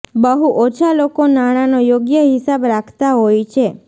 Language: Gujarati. બહુ ઓછા લોકો નાણાંનો યોગ્ય હિસાબ રાખતા હોય છે